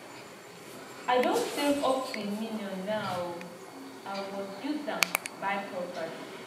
i don save up to a million now oo i was use am buy property